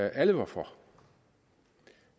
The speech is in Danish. alle var for og